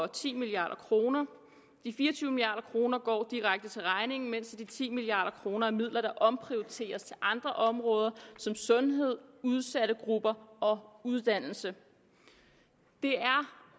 ti milliard kroner de fire og tyve milliard kroner går direkte til regningen mens de ti milliard kroner er midler der omprioriteres til andre områder som sundhed udsatte grupper og uddannelse det er